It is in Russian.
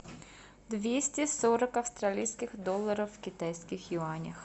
двести сорок австралийских долларов в китайских юанях